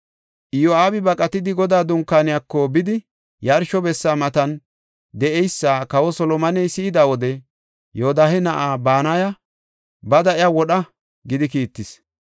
Iyo7aabi baqatidi Godaa Dunkaaniyako bidi, yarsho bessa matan de7eysa kawa Solomoney si7ida wode, Yoodahe na7aa Banaya, “Bada iya wodha” gidi kiittis.